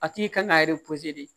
A tigi kan ka